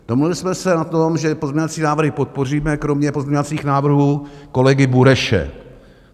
Domluvili jsme se na tom, že pozměňovací návrhy podpoříme kromě pozměňovacích návrhů kolegy Bureše.